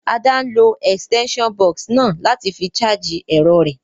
Ada n lo extension box náà láti fi charge èrọ rẹ́